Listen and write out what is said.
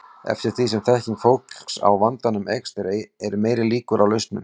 Eftir því sem þekking fólks á vandanum eykst eru meiri líkur á lausnum.